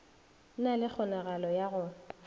na le kgonagalo ya go